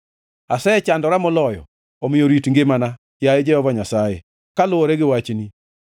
Asechandora moloyo; omiyo rit ngimana, yaye Jehova Nyasaye, kaluwore gi wachni.